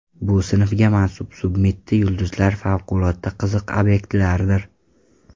Bu sinfga mansub submitti yulduzlar favqulodda qiziq obyektlardir.